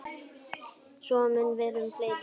Svo mun vera um fleiri.